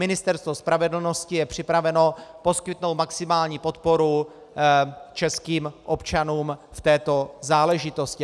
Ministerstvo spravedlnosti je připraveno poskytnout maximální podporu českým občanům v této záležitosti.